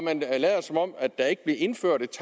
man lader som om at der ikke blev indført et